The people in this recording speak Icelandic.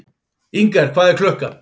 Inger, hvað er klukkan?